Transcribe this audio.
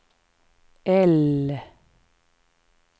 L